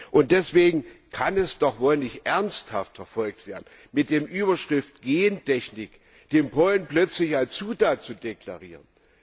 Und deswegen kann es doch wohl nicht ernsthaft verfolgt werden, mit der Überschrift Gentechnik den Pollen plötzlich als Zutat zu deklarieren!